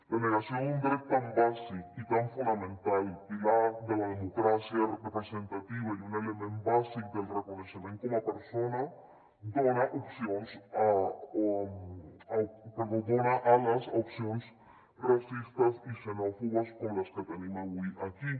la negació d’un dret tan bàsic i tan fonamental pilar de la democràcia representativa i un element bàsic del reconeixement com a persona dona opcions perdó dona ales a opcions racistes i xenòfobes com les que tenim avui aquí